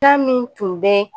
Ta min tun bɛ